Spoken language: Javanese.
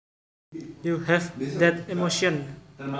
you have that emotion